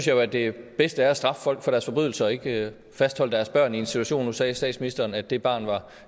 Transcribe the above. jo at det bedste er at straffe folk for deres forbrydelser og ikke fastholde deres børn i en situation nu sagde statsministeren at det barn var